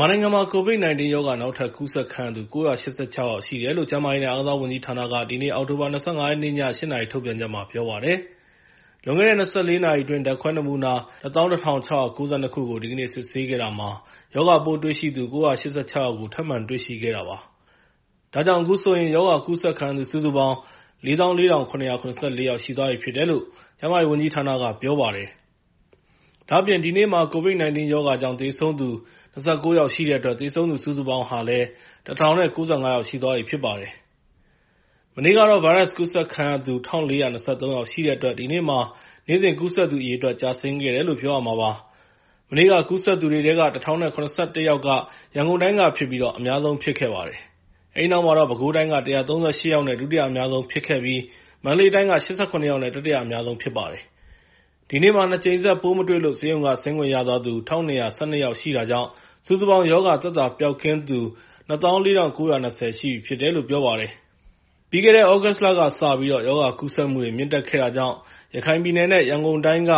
မြန်မာနိုင်ငံမှာ COVID-19 ရောဂါ နောက်ထပ်ကူးစက်ခံရသူ ၉၈၆ ယောက် ရှိတယ်လို့ ကျန်းမာရေးနဲ့ အားကစားဝန်ကြီးဌာနက ဒီနေ့ အောက်တိုဘာ ၂၅ ရက်နေ့ ည ၈ နာရီ ထုတ်ပြန်ချက်မှာ ပြောပါတယ်။ လွန်ခဲ့တဲ့ ၂၄ နာရီအတွင်း ဓာတ်ခွဲနမူနာ ၁၁,၆၉၂ ခုကို ဒီကနေ့ စစ်ဆေးခဲ့တာမှာ ရောဂါပိုးတွေ့ရှိသူ ၉၈၆ ယောက်ကို ထပ်မံတွေ့ရှိခဲ့တာပါ။ ဒါကြောင့် အခုဆိုရင် ရောဂါကူးစက်ခံရသူ စုစုပေါင်း ၄၄,၇၇၄ ယောက် ရှိသွားပြီဖြစ်တယ်လို့ ကျန်းမာရေးဝန်ကြီးဌာနက ပြောပါတယ်။ ဒါ့အပြင် ဒီနေ့မှာ COVID-19 ရောဂါကြောင့် သေဆုံးသူ ၂၉ ယောက်ရှိတဲ့အတွက် သေဆုံးသူ စုစုပေါင်းဟာလည်း ၁,၀၉၅ ယောက်ရှိသွားပြီ ဖြစ်ပါတယ်။ မနေ့ကတော့ ဗိုင်းရပ်စ်ကူးစက်ခံရသူ ၁,၄၂၃ ယောက် ရှိခဲ့တဲ့အတွက် ဒီနေ့မှာတော့ နေ့စဉ် ကူးစက်သူအရေအတွက် ကျဆင်းခဲ့တယ်လို့ ပြောရမှာဖြစ်ပါတယ်။ မနေ့က ကူးစက်သူတွေထဲက ၁,၀၇၁ ယောက်က ရန်ကုန်တိုင်းကဖြစ်ပြီး အများဆုံးဖြစ်ပါတယ်။ အဲဒီနောက်မှာတော့ ပဲခူးတိုင်းက ၁၃၈ ယောက်နဲ့ ဒုတိယအများဆုံးဖြစ်ခဲ့ပြီး မန္တလေးတိုင်းက ၈၇ ယောက်နဲ့ တတိယအများဆုံး ဖြစ်ပါတယ်။ ဒီနေ့မှာ ၂ ကြိမ်ဆက်ပိုးမတွေ့လို့ ဆေးရုံက ဆင်းခွင့်ရသွားသူ ၁,၂၁၂ ယောက်ရှိတာကြောင့် စုစုပေါင်း ရောဂါသက်သာပျောက်ကင်းသူ ၂၄,၉၂၀ ရှိပြီဖြစ်တယ်လို့ ပြောပါတယ်။ ပြီးခဲ့တဲ့ သြဂုတ်လကစပြီး ရောဂါကူးစက်မှုတွေ မြင့်တက်ခဲ့တာကြောင့် ရခိုင်ပြည်နယ်နဲ့ ရန်ကုန်တိုင်းက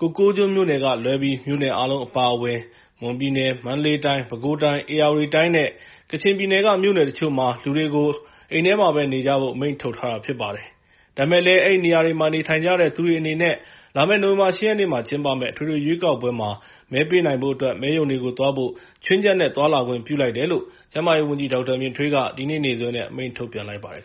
ကိုကိုးကျွန်းမြို့နယ်ကလွဲပြီး မြို့နယ်အားလုံး အပါအဝင် မွန်ပြည်နယ်၊ မန္တလေးတိုင်း၊ ပဲခူးတိုင်း၊ ဧရာဝတီတိုင်းနဲ့ ကချင်ပြည်နယ်က မြို့နယ်တချို့မှာ လူတွေကို အိမ်ထဲမှာနေကြဖို့ အမိန့်ထုတ်ထားတာ ဖြစ်ပါတယ်။ ဒါပေမယ့်လည်း အဲဒီနေရာတွေမှာ နေထိုင်ကြတဲ့သူတွေ အနေနဲ့ လာမယ့် နိုဝင်ဘာ ၈ ရက်နေ့မှာ ကျင်းပမယ့် အထွေထွေရွေးကောက်ပွဲမှာ မဲပေးနိုင်ဖို့အတွက် မဲရုံကိုသွားဖို့ ခြွင်းချက်နဲ့ သွားလာခွင့်ပြုလိုက်တယ်လို့ ကျန်းမာရေးဝန်ကြီး ဒေါက်တာမြင့်ထွေးက ဒီနေ့ နေ့စွဲနဲ့ အမိန့်ထုတ်ပြန်လိုက်ပါတယ်